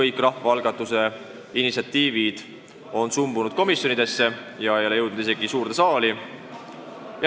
Kõik rahvaalgatuse initsiatiivid on sumbunud komisjonidesse ega ole jõudnud isegi suurde saali.